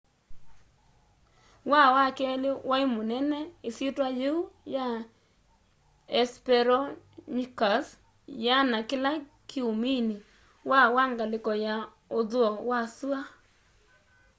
waa wa keli wai munene isyitwa yiu ya hesperonychus yiana kila kiumini waa wa ngaliko ya uthuo wa sua